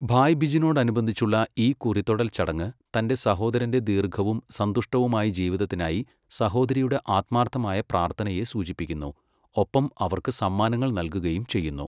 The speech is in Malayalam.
ഭായ് ബിജിനോടനുബന്ധിച്ചുള്ള ഈ കുറിതൊടൽ ചടങ്ങ്, തന്റെ സഹോദരന്റെ ദീർഘവും സന്തുഷ്ടവുമായ ജീവിതത്തിനായി സഹോദരിയുടെ ആത്മാർത്ഥമായ പ്രാർത്ഥനയെ സൂചിപ്പിക്കുന്നു, ഒപ്പം അവർക്ക് സമ്മാനങ്ങൾ നൽകുകയും ചെയ്യുന്നു.